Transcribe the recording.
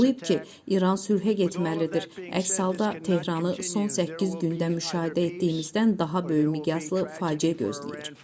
O vurğulayıb ki, İran sülhə getməlidir, əks halda Tehranı son səkkiz gündə müşahidə etdiyimizdən daha böyük miqyaslı faciə gözləyir.